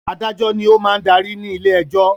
Adájọ́ ni ó máa ń darí ní ilé-ẹjọ́.